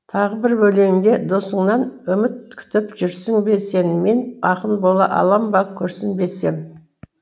тағы бір өлеңінде досыңнан үміт күтіп жүрсің бе сен мен ақын бола алам ба күрсінбесем